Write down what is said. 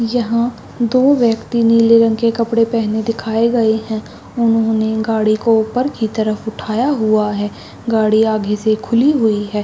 यहाँ दो व्यक्ति ने नीले रंग के कपड़े पहने दिखाए गए है उन्होंने गाड़ी को ऊपर की तरफ उठाया हुआ हैं गाड़ी आगे से खुली हुई हैं।